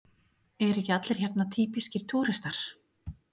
Eru ekki allir hérna týpískir túrhestar?